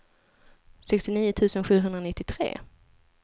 sextionio tusen sjuhundranittiotre